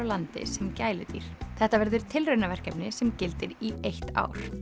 landi sem gæludýr þetta verður sem gildir í eitt ár